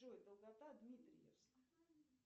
джой долгота дмитриевск